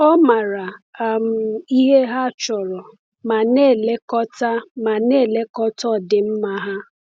Ọ maara um ihe ha chọrọ ma na-elekọta ma na-elekọta ọdịmma ha.